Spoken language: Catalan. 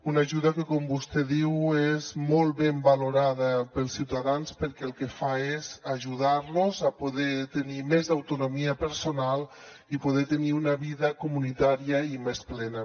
una ajuda que com vostè diu és molt ben valorada pels ciutadans perquè el que fa és ajudar los a poder tenir més autonomia personal i poder tenir una vida comunitària i més plena